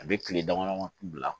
A bɛ tile damadɔ bila